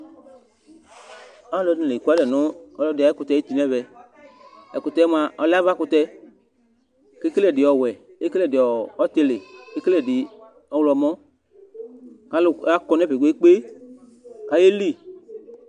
Alʋɛdìní la ɛkʋalɛ nʋ ɔlɔdi ayʋ ɛkʋtɛ ayʋti nʋ ɛvɛ Ɛkʋtɛ mʋa ɔlɛ avakʋtɛ Ekele ɛdi ɔwɛ, ekele ɛdi ɔtili kʋ ekele ɛdi ɔwlɔmɔ kʋ alu akɔ nʋ ɛfɛ kpe kpe kpe kʋ ayeli